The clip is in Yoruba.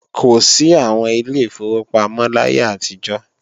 Kò sí àwọn Ilé ìfowópamọ́ láyé àtijọ́